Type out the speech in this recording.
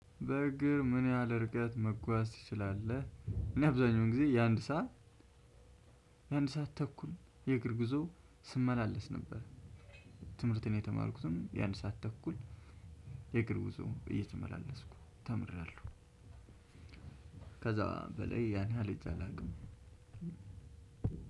በእግር ምን ያህል እርቀት መጓዝ ትችላለህ? እኔ አብዛኛውን ጊዜ የአንድ ሰዓት የአንድ ሰዓት ተኩል የእግር ጉዞ ስመላለስ ነበር። ትምህርትን የተማርኩትም የአንድ ሰዓት ተኩል የእግር ጉዞ እየተመላለስኩ ተምሬያለሁ። ከዛ በላይ ያን ያህል ሄጄ አላውቅም።